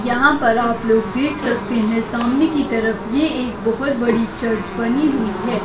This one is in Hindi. यहाँ पर आप लोग देख सकते है सामने की तरफ ये एक बहुत बड़ी चर्च बनी हुई है।